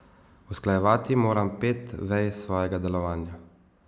Usklajevati moram pet vej svojega delovanja.